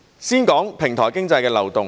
先說平台經濟的漏洞。